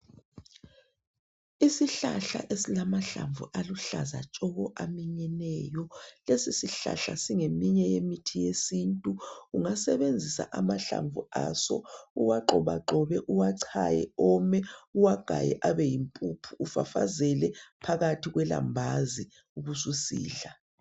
Isihlahla esilamahlamvu aluhlaza aminyeneyo lesi isihlahla singeminye yemithi yesintu uyasebenzisa amahlamvu aso uwagxoba gxobe uwachaye ome uwagaye abeyimpuphu ufafazele phakathi kolambazi ubususidla